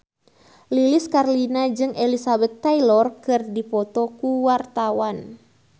Lilis Karlina jeung Elizabeth Taylor keur dipoto ku wartawan